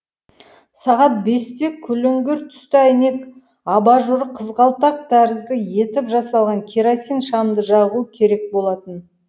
сағат бесте күліңгір түсті әйнек абажуры қызғалдақ тәрізді етіп жасалған керосин шамды жағу керек болатын